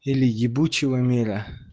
или ебучего мира